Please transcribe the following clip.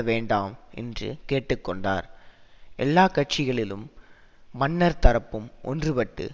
வேண்டாம் என்று கேட்டு கொண்டார் எல்லா கட்சிகளிளும் மன்னர் தரப்பும் ஒன்றுபட்டு